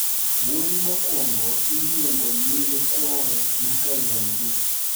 Wuoyi mokwongo iluongo nying kware ma kawuon gi.